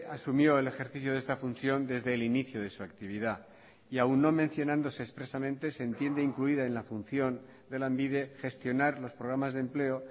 asumió el ejercicio de esta función desde el inicio de su actividad y aun no mencionándose expresamente se entiende incluida en la función de lanbide gestionar los programas de empleo